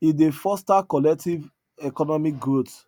e dey foster collective economic growth